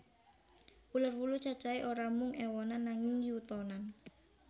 Uler wulu cacahé ora mung éwonan nanging yutonan